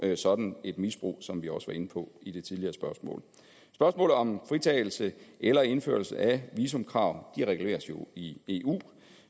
sådan et misbrug som vi også var inde på i det tidligere spørgsmål spørgsmålet om fritagelse eller indførelse af visumkrav reguleres jo i eu